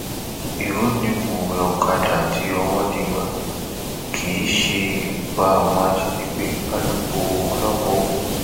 irọ ni mọwé ọkadà àti òwòdeẹgbà kì í ṣe ibùba àwọn ajànigbé alūkkóró ọlọpàá ogun